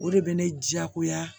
O de bɛ ne diyagoya